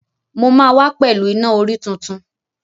Mo máa wá pẹ̀lú Iná-orí tuntun.